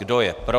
Kdo je pro?